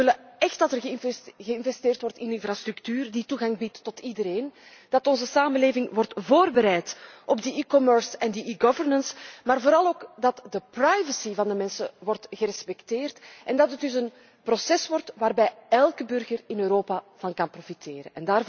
Wij willen echt dat er geïnvesteerd wordt in infrastructuur die toegang biedt tot iedereen. Wij willen dat onze samenleving wordt voorbereid op die e commerce en e governance, maar vooral ook dat de privacy van de mensen wordt gerespecteerd en dat het dus een proces wordt waarvan elke burger in Europa kan profiteren.